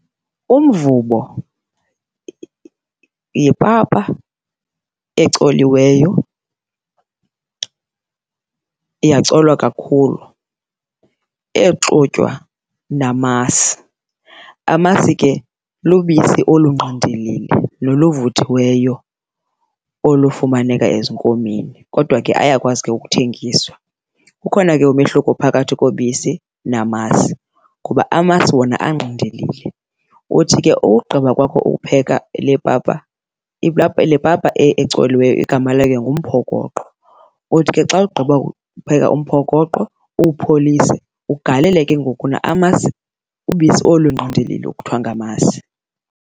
Umvubo yipapa ecoliweyo yacolwa kakhulu exutywa namasi. Amasi ke lubisi olungqindilili noluvuthiweyo olufumaneka ezinkomeni, kodwa ke ayakwazi ke ukuthengiswa. Kukhona ke umehluko phakathi kobisi namasi kuba amasi wona angqindilili, uthi ke ugqiba kwakho ukupheka le papa, le papa ecoliweyo igama layo ngumphokoqo, uthi ke xa ugqiba kupheka umphokoqo uwupholise ugalele ke ngoku amasi, ubisi olu lungqindilili kuthiwa ngamasi.